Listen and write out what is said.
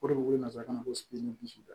O de ko ye nansarakan na ko